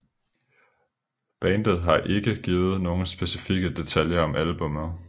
Bandet har ikke givet nogen specifikke detaljer om albummet